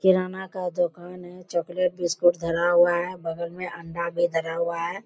किराना का दुकान है चॉकलेट बिस्‍कुट धरा हुआ है बगल में अंडा भी धरा हुआ है।